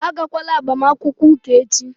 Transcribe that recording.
Agakwala agbamakwụkwọ ụka echi!